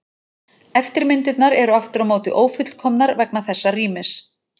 Eftirmyndirnar eru aftur á móti ófullkomnar vegna þessa rýmis.